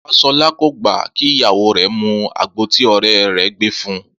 Fáṣọlá kò gbà kí ìyàwó rẹ̀ mu àgbo tí ọ̀rẹ́ rẹ̀ gbé fun